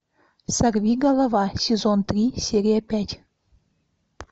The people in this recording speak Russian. сорви голова сезон три серия пять